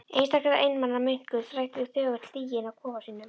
Einstaka einmana munkur þræddi þögull stíginn að kofa sínum.